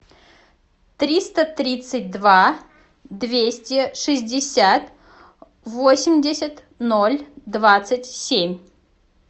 триста тридцать два двести шестьдесят восемьдесят ноль двадцать семь